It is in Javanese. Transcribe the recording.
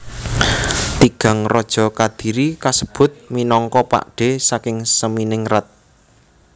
Tigang raja Kadiri kasebut minangka pakdhe saking Seminingrat